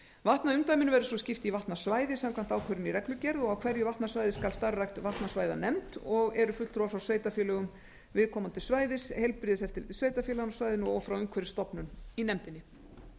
vatnaumdæminu verður svo skipt í vatnasvæði samkvæmt ákvörðun í reglugerð á hverju vatnasvæði skal starfrækt vatnasvæðanefnd og eru fulltrúar frá sveitarfélögum viðkomandi svæðis heilbrigðiseftirliti sveitarfélaganna á svæðinu og frá umhverfisstofnun í nefndinni